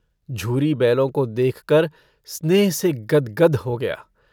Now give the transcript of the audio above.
झूरी बैलों को देखकर स्नेह से गद्गद हो गया।